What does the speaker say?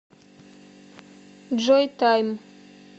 джой тайм